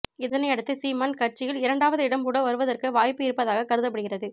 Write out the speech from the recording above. இதனையடுத்து சீமான் கட்சியில் இரண்டாவது இடம் கூட வருவதற்கு வாய்ப்பு இருப்பதாக கருதப்படுகிறது